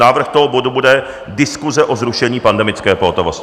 Návrh toho bodu bude Diskuse o zrušení pandemické pohotovosti.